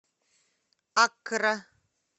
аккра